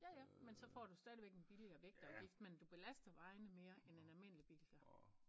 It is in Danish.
Ja ja men så får du stadigvæk en billigere vægtafgift men du belaster vejene mere end en almindelig bil gør